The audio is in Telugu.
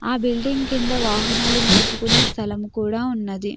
బిల్డింగ్ కింద వాహనాలు నిలుపుకునే స్థలము కూడా ఉన్నది.